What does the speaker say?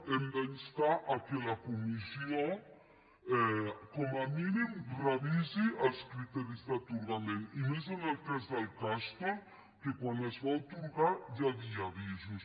hem d’instar que la comissió com a mínim revisi els criteris d’atorgament i més en el cas del castor que quan es va atorgar ja hi havia avisos